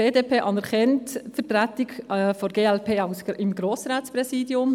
Die BDP anerkennt die Vertretung der glp im Grossratspräsidium.